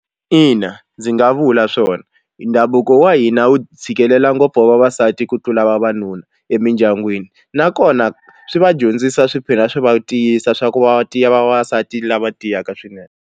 Ina, ndzi nga vula swona ndhavuko wa hina wu tshikelela ngopfu wa vavasati ku tlula vavanuna emindyangwini nakona swi va dyondzisa swi tlhela swi va tiyisa swa ku va tiya vavasati lava tiyaka swinene.